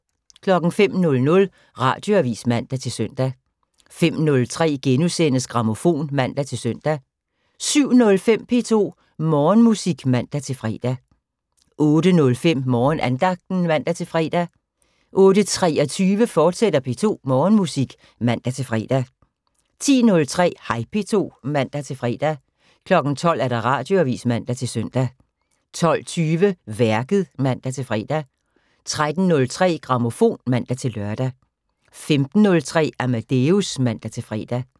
05:00: Radioavis (man-søn) 05:03: Grammofon *(man-søn) 07:05: P2 Morgenmusik (man-fre) 08:05: Morgenandagten (man-fre) 08:23: P2 Morgenmusik, fortsat (man-fre) 10:03: Hej P2 (man-fre) 12:00: Radioavis (man-søn) 12:20: Værket (man-fre) 13:03: Grammofon (man-lør) 15:03: Amadeus (man-fre)